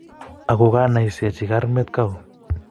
ako kinaisechi karmet kau